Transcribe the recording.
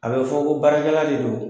A bɛ fɔ ko barakɛla de don.